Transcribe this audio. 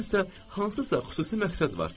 Burdan isə hansısa xüsusi məqsəd var.